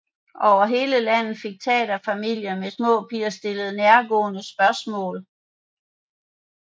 Over hele landet fik taterfamilier med små piger stillet nærgående spørgsmål